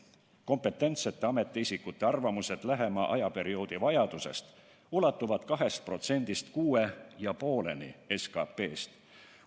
Kompetentsete ametiisikute arvamused lähima ajaperioodi vajadusest ulatuvad 2%-st kuni 6,5%-ni SKT-st.